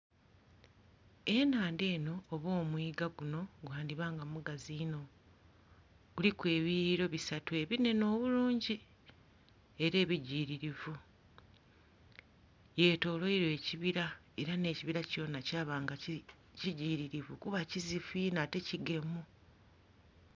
Enhandha eno oba omwiga guno gwandiba nga mugazi inho guliku ebiyuweriro bisatu ebinhenhe obulungi era ebijiririvu byetolwalwa ekibira era n'ekibira kyona kyaba nga kijiririvu kuba kizifu inho ate kigemu.